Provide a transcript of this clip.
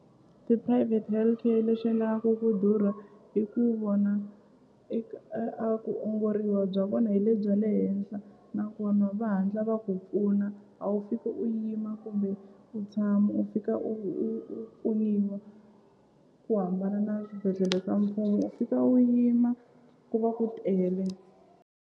Ti-private healthcare lexi endlaka ku durha i ku vona a ku ongoriwa bya vona hi le bya le henhla nakona va hatla va ku pfuna a wu u fiki u yima kumbe u tshama u fika u u u u pfunuwa ku hambana na swibedhlele swa mfumo u fika u yima ku va ku tele.